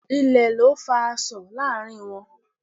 Ilè ni o fa asọ̀ láàrin wọn